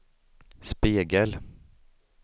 spegel